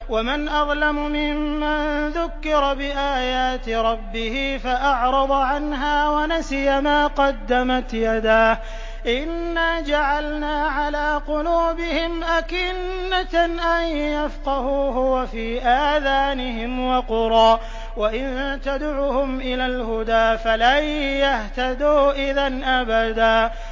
وَمَنْ أَظْلَمُ مِمَّن ذُكِّرَ بِآيَاتِ رَبِّهِ فَأَعْرَضَ عَنْهَا وَنَسِيَ مَا قَدَّمَتْ يَدَاهُ ۚ إِنَّا جَعَلْنَا عَلَىٰ قُلُوبِهِمْ أَكِنَّةً أَن يَفْقَهُوهُ وَفِي آذَانِهِمْ وَقْرًا ۖ وَإِن تَدْعُهُمْ إِلَى الْهُدَىٰ فَلَن يَهْتَدُوا إِذًا أَبَدًا